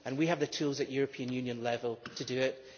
We have the tools at European Union level to do that.